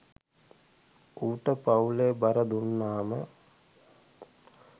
ඌට පවුලේ බර දුන්නම